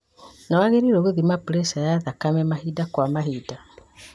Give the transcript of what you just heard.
Nĩwagĩrĩirwo nĩ gũthima preca ya thakame mahinda kwa mahinda